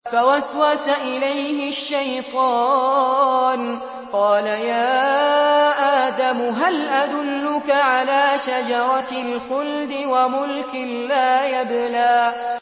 فَوَسْوَسَ إِلَيْهِ الشَّيْطَانُ قَالَ يَا آدَمُ هَلْ أَدُلُّكَ عَلَىٰ شَجَرَةِ الْخُلْدِ وَمُلْكٍ لَّا يَبْلَىٰ